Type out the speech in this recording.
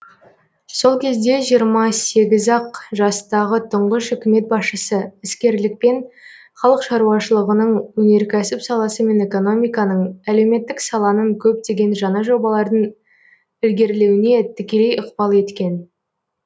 сол кезде жиырма сегіз ақ жастағы тұңғыш үкімет басшысы іскерлікпен халық шаруашылығының өнеркәсіп саласы мен экономиканың әлеуметтік саланың көптеген жаңа жобалардың ілгерлеуіне тікелей ықпал еткен